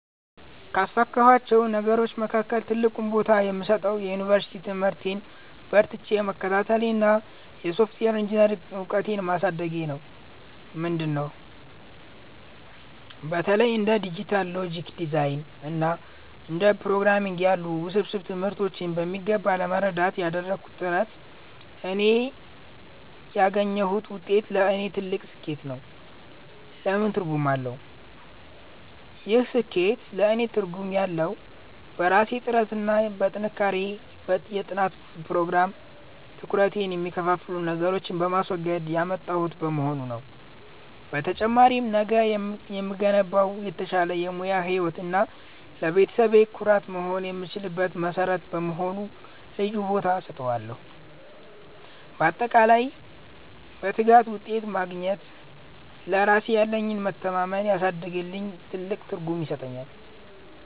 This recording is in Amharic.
ካሳካኋቸው ነገሮች መካከል ትልቁን ቦታ የምሰጠው የዩኒቨርሲቲ ትምህርቴን በርትቼ መከታተሌንና የሶፍትዌር ኢንጂኔሪንግ እውቀቴን ማሳደጌን ነው። ምንድን ነው? በተለይ እንደ ዲጂታል ሎጂክ ዲዛይን እና ፕሮግራምንግ ያሉ ውስብስብ ትምህርቶችን በሚገባ ለመረዳት ያደረግኩት ጥረት እና ያገኘሁት ውጤት ለእኔ ትልቅ ስኬት ነው። ለምን ትርጉም አለው? ይህ ስኬት ለእኔ ትርጉም ያለው፣ በራሴ ጥረትና በጠንካራ የጥናት ፕሮግራም (ትኩረቴን የሚከፋፍሉ ነገሮችን በማስወገድ) ያመጣሁት በመሆኑ ነው። በተጨማሪም፣ ነገ ለምገነባው የተሻለ የሙያ ህይወት እና ለቤተሰቤ ኩራት መሆን የምችልበት መሠረት በመሆኑ ልዩ ቦታ እሰጠዋለሁ። ባጠቃላይ፣ በትጋት ውጤት ማግኘት ለራሴ ያለኝን መተማመን ስላሳደገልኝ ትልቅ ትርጉም ይሰጠኛል።